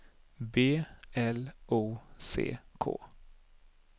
B L O C K